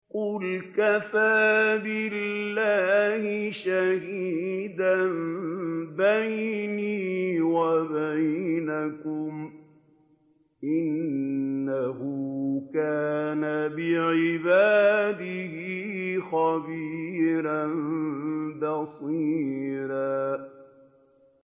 قُلْ كَفَىٰ بِاللَّهِ شَهِيدًا بَيْنِي وَبَيْنَكُمْ ۚ إِنَّهُ كَانَ بِعِبَادِهِ خَبِيرًا بَصِيرًا